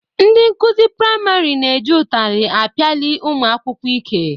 Ndị nkụzi priamarị na-eji ụtarị apiali ụmụ akwụkwọ ike.